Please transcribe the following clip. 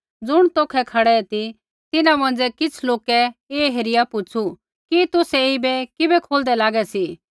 ज़ुण तौखै खड़ै ती तिन्हां मौंझ़ै किछ़ लोकै ऐ हेरिया पूछू़ कि तुसै ऐईबै किबै खोलदै लागै सी